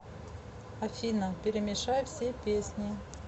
афина перемешай все песни